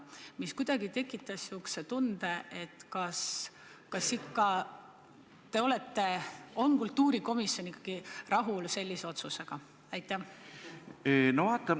See tekitas kuidagi niisuguse tunde, et kas kultuurikomisjon on ikka sellise otsusega rahul.